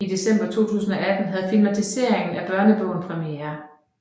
I december 2018 havde filmatiseringen af børnebogen premiere